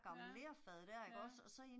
Ja, ja